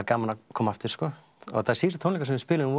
gaman að koma aftur og síðustu tónleikar sem við spiluðum